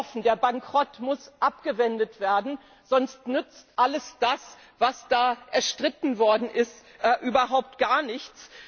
Seien wir offen Der Bankrott muss abgewendet werden, sonst nützt alles das, was da erstritten worden ist, überhaupt gar nichts.